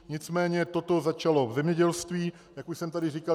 Nicméně toto začalo v zemědělství, jak už jsem tady říkal.